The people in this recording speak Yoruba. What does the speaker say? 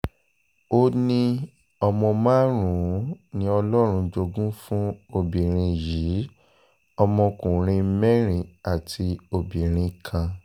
ó níọmọ márùn-ún ni ọlọ́run jogún fún obìnrin yìí ọmọkùnrin mẹ́rin àti obìnrin kan